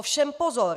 Ovšem pozor!